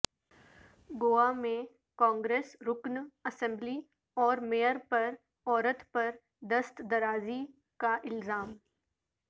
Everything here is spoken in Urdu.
گوا میں کانگریس رکن اسمبلی اور میئر پر عورت پر دست درازی کا الزام